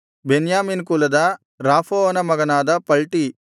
ಬೆನ್ಯಾಮೀನ್ ಕುಲದ ರಾಫೂವನ ಮಗನಾದ ಪಲ್ಟೀ